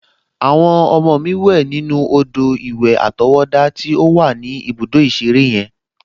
Àwọn ọmọ mi wẹ̀ nínú odò-ìwẹ̀ àtọwọ́dá to wà ní ibùdó ìṣeré yen